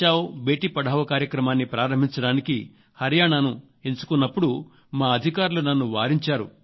బేటీ పడావో కార్యక్రమాన్ని ప్రారంభించడానికి హరియాణాను ఎంచుకున్నప్పుడు మా అధికారులు నన్ను వారించారు